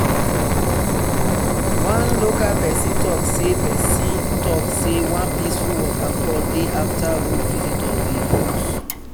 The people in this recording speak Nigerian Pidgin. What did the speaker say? one local person talk say person talk say one peaceful waterfall dey after road visitors dey use.